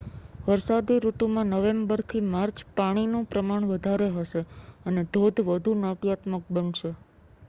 વરસાદી ઋતુમાં નવેમ્બરથી માર્ચ પાણીનું પ્રમાણ વધારે હશે અને ધોધ વધુ નાટ્યાત્મક બનશે